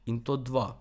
In to dva.